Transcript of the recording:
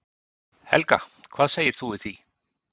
Helga: Hvað segir þú við því?